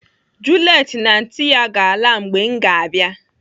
Juliet na anti ya ga-ala mgbe m ga-abịa.